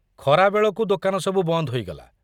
ଖରା ବେଳକୁ ଦୋକାନସବୁ ବନ୍ଦ ହୋଇଗଲା।